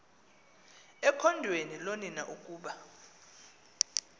ekhondweni loonina ukuba